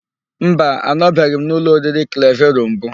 Mba, anọbeghị m n'ụlọ oriri Klevero mbụ.